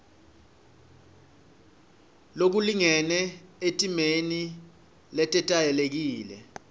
lokulingene etimeni letetayelekile